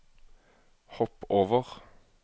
hopp over